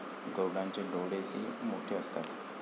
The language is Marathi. गरुडाचे डोळे ही मोठे असतात.